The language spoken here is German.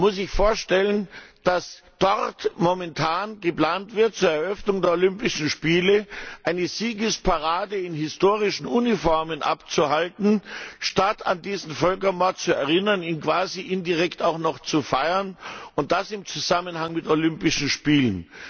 Man muss sich vorstellen, dass dort momentan geplant wird, zur Eröffnung der Olympischen Spiele eine Siegesparade in historischen Uniformen abzuhalten statt an diesen Völkermord zu erinnern, ihn quasi indirekt auch noch zu feiern, und das im Zusammenhang mit Olympischen Spielen!